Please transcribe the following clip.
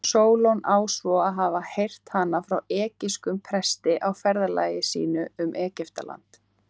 Sólon á svo að hafa heyrt hana frá egypskum presti á ferðalagi sínu um Egyptaland.